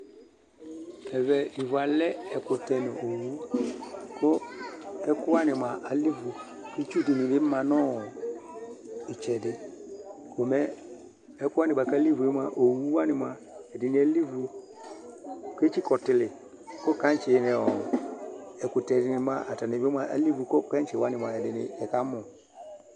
Ɛvɛ ivu alɛ ɛkʋtɛ nʋ owu kʋ ɛkʋ wanɩ mʋa, alɛ ivu Itsu dɩnɩ bɩ ma nʋ ɔ ɩtsɛdɩ, ko mɛ ɛkʋ wanɩ bʋa kʋ alɛ ivu yɛ mʋa, owu wanɩ mʋa, ɛdɩnɩ alɛ ivu kʋ etsikǝ ɔtɩlɩ kʋ kaŋtsɩ nʋ ɔ ɛkʋtɛ dɩnɩ mʋa, atanɩ bɩ mʋa, alɛ ivu kʋ kɛŋtsɩ wanɩ ɛdɩnɩ ɛkamʋ